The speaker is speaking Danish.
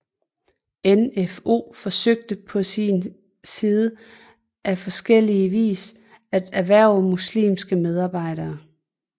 NfO forsøgte på sin side på forskellie vis at hverve muslimske medarbejdere